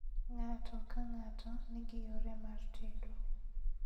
Ng'ato ka ng'ato nigi yore mar tedo